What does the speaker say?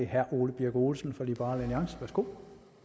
herre ole birk olesen for liberal alliance værsgo